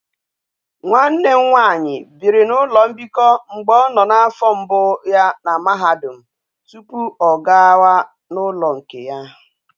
Nwa nne nwanyi biri na ulo mbiko mgbe o no na afo mbu ya na mahadum tupu o ga wa na ulo nke ya